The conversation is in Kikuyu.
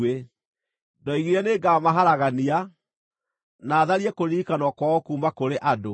Ndoigire nĩngamaharagania, na tharie kũririkanwo kwao kuuma kũrĩ andũ,